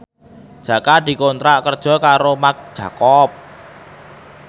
Jaka dikontrak kerja karo Marc Jacob